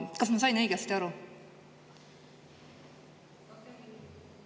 Kas ma sain õigesti aru?